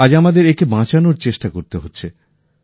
আজ আমাদের একে বাঁচানোর চেষ্টা করতে হচ্ছে